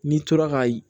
N'i tora ka